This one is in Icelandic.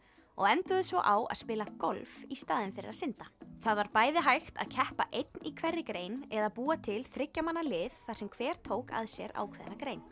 og enduðu svo á að spila golf í staðinn fyrir að synda það var bæði hægt að keppa einn í hverri grein eða búa til þriggja manna lið þar sem hver tók að sér ákveðna grein